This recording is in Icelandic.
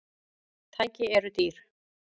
Tæki eru dýr.